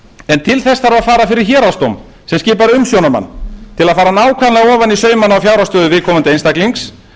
en til þess þarf að fara fyrir héraðsdóm sem skipar umsjónarmann til að fara nákvæmlega ofan í saumana á fjárhagsstöðu viðkomandi einstaklings